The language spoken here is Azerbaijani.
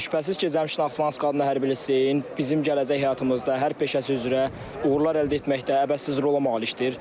Şübhəsiz ki, Cəmşid Naxçıvanski adına hərbi liseyin bizim gələcək həyatımızda hər peşəsi üzrə uğurlar əldə etməkdə əvəzsiz rolu malikdir.